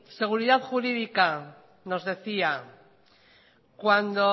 seguridad jurídica nos decía cuando